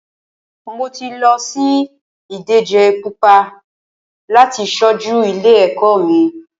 Mo ti lọ sí ìdíje púpọ láti ṣojú ilé ẹ̀kọ́ mi.